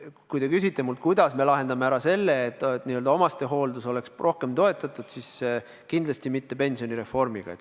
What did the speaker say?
Kui te küsite mult, kuidas me lahendame ära probleemi, et omastehooldus oleks rohkem toetatud, siis kindlasti mitte pensionireformiga.